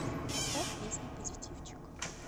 поставь песня позитивчик